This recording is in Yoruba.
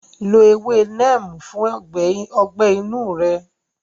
Lo ewé Neem fún ọgbẹ́ inú rẹ.